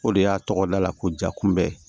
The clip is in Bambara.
O de y'a tɔgɔ da la ko ja kunbɛ